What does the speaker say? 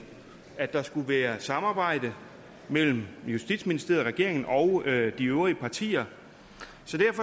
at der skulle være samarbejde mellem justitsministeriet regeringen og de øvrige partier